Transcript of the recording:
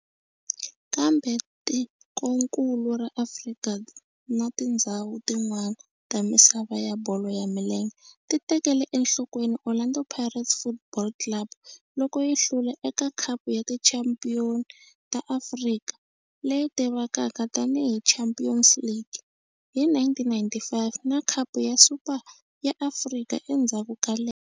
Kambe tikonkulu ra Afrika na tindzhawu tin'wana ta misava ya bolo ya milenge ti tekele enhlokweni Orlando Pirates Football Club loko yi hlula eka Khapu ya Tichampion ta Afrika, leyi tivekaka tani hi Champions League, hi 1995 na Khapu ya Super ya Afrika endzhaku ka lembe.